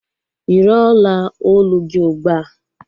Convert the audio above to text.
Yiri ọla olu gị ugbua!